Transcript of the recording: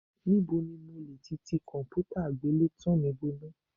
Níbo ni mo lè ti ti kọ̀m̀pútà àgbélétan mi bọná sí.?